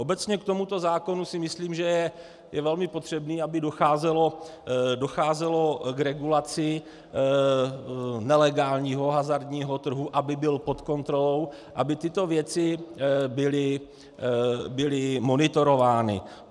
Obecně k tomuto zákonu si myslím, že je velmi potřebné, aby docházelo k regulaci nelegálního hazardního trhu, aby byl pod kontrolou, aby tyto věci byly monitorovány.